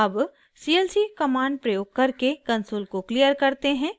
अब clc command प्रयोग करके कंसोल को क्लियर करते हैं